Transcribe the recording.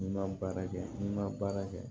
N'i ma baara kɛ n'i ma baara kɛ